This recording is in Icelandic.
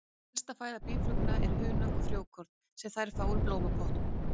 Helsta fæða býflugna er hunang og frjókorn sem þær fá úr blómplöntum.